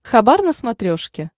хабар на смотрешке